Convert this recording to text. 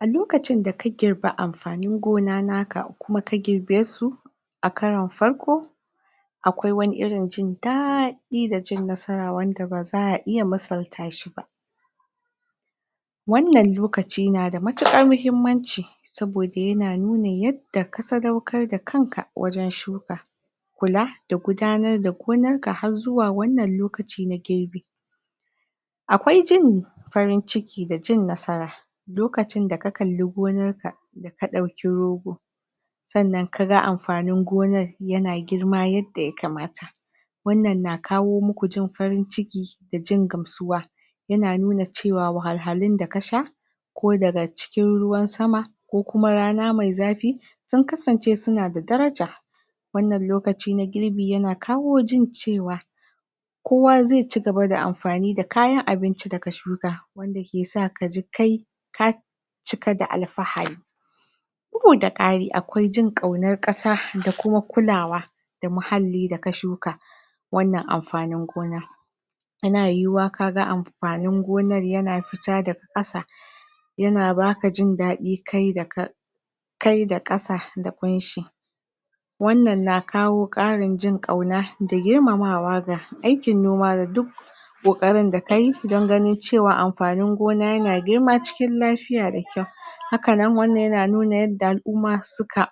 a lokacin da ka girbi amfanin gona naka kuma ka girbesu a karon farko a kwai wani irin jin da ɗi da jin nasara wanda baza a iya musal ta shi ba wannan lokaci na da matukar mahimmanci sabo da yana nunin yadda ka sadaukar da kanka wajen shuka kula da gudanar da gonar ka har zuwa wannan lokaci na girbi akwai jin farin ciki da cin nasara lokacin da ka kalli gonar ka ka ɗauki rogo sannan ka ga amfanin gonar ya na girma yadda ya kamata wannan na kawo muku jin farin ciki da jin gamsuwa ya na nuna cewa wahal halun da ka sha ko daga cikin ruwan sama ko kuma rana mai zafi sun kasance suna da daraja wannan lokaci na girbi ya na kawo jin cewa kowa zai ci gaba da amfani da kayan abinci da ka shuka wanda ke sa kaji kai ka cika da alfahari bugu da ƙari akwai jin ƙaunar ƙasa da kuma kulawa da muhalli da ka shuka wannan amfanin gona yana yiwu wa kaga amfanin gonar yana fita daga kasa yana baka jin daɗi kai da ka kai da ƙasa da ƙun shi wannan na kawo ƙarin jin ƙauna da girmamawa ga aikin noma da duk ƙoƙarin da kayi don ganin cewa amfanin gona yana girma cikin lafiya da ƙyau haka nan wannan yana nu na yadda al'umma su ka